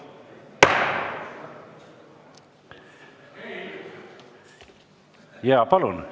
Jaa, palun!